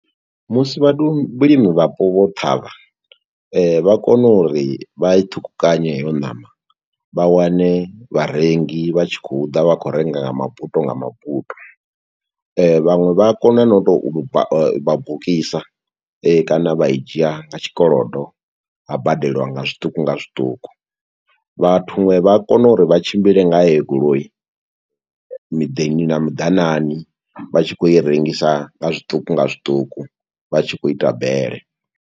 Musi vhathu, vhulimi vhapo vho ṱhavha, vha kona uri vha i ṱhukhukanye heyo ṋama, vha wane vharengi vha tshi khou ḓa, vha khou renga nga mabuto nga mabuto. Vhaṅwe vha a kona no tou lu ba u vha bukisa, kana vha i dzhia nga tshikolodo, ha badeliwa nga zwiṱuku nga zwiṱuku. Vhathu huṅwe vha a kona uri vha tshimbile nga heyo goloi, miḓini na miḓanane, vha tshi khou i rengisa nga zwiṱuku nga zwiṱuku, vha tshi khou ita bele.